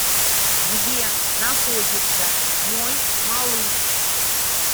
где находится мой малыш